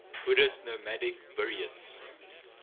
buddhist nomadic buryats